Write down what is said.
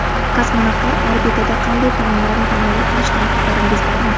Kosmonavtlar orbitada qanday taomlarni tanovul qilishidan xabaringiz bormi?